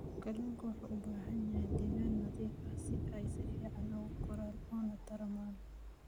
Kalluunku waxa uu u baahan yahay deegaan nadiif ah si ay si fiican ugu koraan una tarmaan.